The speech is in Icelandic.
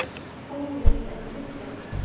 Hópurinn er að styrkjast.